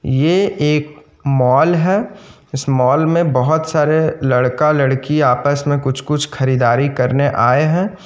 ये एक मॉल है इस मॉल में बहुत सारे लड़का-लड़की आपस में कुछ-कुछ खरीदारी करने आये हैं।